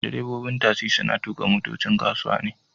Direbobin tasi suna tuka motocin kasuwa ne